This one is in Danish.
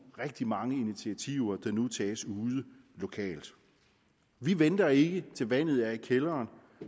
rigtig mange initiativer der nu tages lokalt vi venter ikke til vandet står i kælderen